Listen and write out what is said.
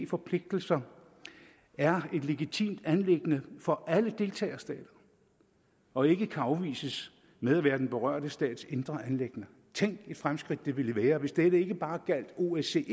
forpligtelser er et legitimt anliggende for alle deltagerstater og ikke kan afvises med at være den berørte stats indre anliggender tænk et fremskridt det ville være hvis det ikke bare gjaldt osce